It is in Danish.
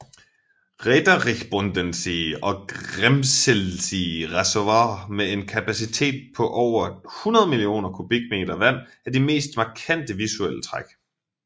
Räterichbodensee og Grimselsee reservoirer med en kapacitet på over 100 millioner kubikmeter vand er de mest markante visuelle træk